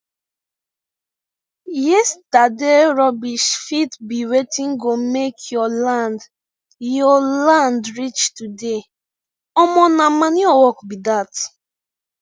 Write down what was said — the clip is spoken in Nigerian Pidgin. yesterday rubbish fit be wetin go make your land your land rich today omo nah manure work be that